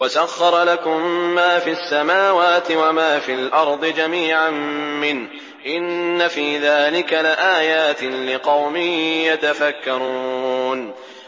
وَسَخَّرَ لَكُم مَّا فِي السَّمَاوَاتِ وَمَا فِي الْأَرْضِ جَمِيعًا مِّنْهُ ۚ إِنَّ فِي ذَٰلِكَ لَآيَاتٍ لِّقَوْمٍ يَتَفَكَّرُونَ